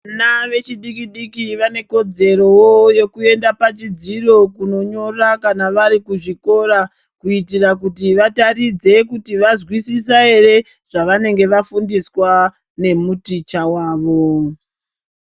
Vana vechidiki diki vane kodzerowo yokuyenda pachidziyo kunonyora kana varikuzvikora kuitira kuti vataridze kuti vazvisisa here zvavsnenge vafundiswa nemuticha wavo.